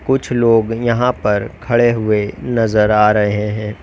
कुछ लोग यहां पर खड़े हुए नजर आ रहे हैं।